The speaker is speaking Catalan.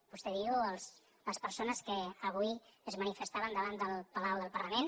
vostè diu les persones que avui es manifestaven davant del palau del parlament